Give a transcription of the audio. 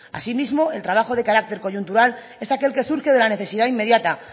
asimismo el trabajo de carácter coyuntural es aquel que surge de la necesidad inmediata